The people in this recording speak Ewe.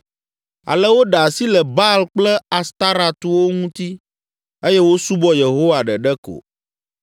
Ale woɖe asi le Baal kple Astarɔtwo ŋuti eye wosubɔ Yehowa ɖeɖe ko.